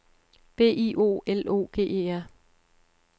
B I O L O G E R